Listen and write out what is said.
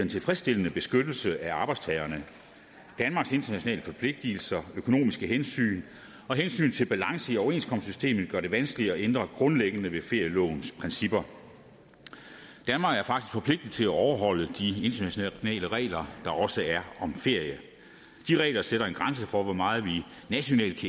tilfredsstillende beskyttelse af arbejdstagerne danmarks internationale forpligtelser økonomiske hensyn og hensynet til balance i overenskomstsystemet gør det vanskeligt at ændre grundlæggende ved ferielovens principper danmark er faktisk forpligtet til at overholde de internationale regler der også er om ferie de regler sætter en grænse for hvor meget vi nationalt